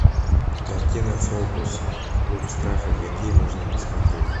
картина фобус клуб страха какие можно посмотреть